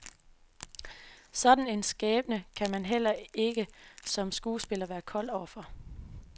Sådan en skæbne kan man heller ikke som skuespiller være kold overfor.